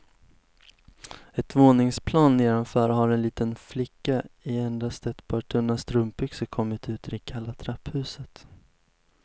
Ett våningsplan nedanför har en liten flicka i endast ett par tunna strumpbyxor kommit ut i det kalla trapphuset.